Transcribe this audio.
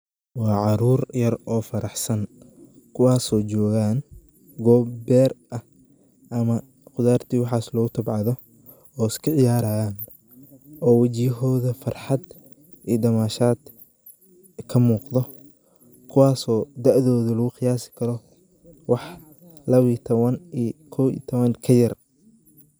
Waa carur yar oo faraxsan kuwasoo jogaan gob ber ah ama khudaarta iyo waxas lagu tabcado oo iska ciyaraan oo wajiyahoda farxad iyo dhamashad kamuqdo kuwaso dacdodu lagu qiyasi karo wax laba iyo taban iyo kow iyo toban ka yar.